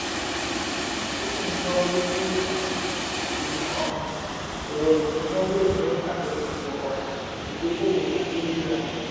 rosenblatt: àdínkú lè wà nínú iṣẹ́ ìmọ̀-ẹ̀rọ ìsúná tí iṣẹ́ bá dẹnu kọlẹ̀.